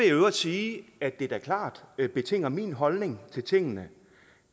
i øvrigt sige at det da klart betinger min holdning til tingene